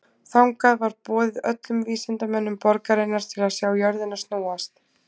Þangað var boðið öllum vísindamönnum borgarinnar til að sjá jörðina snúast.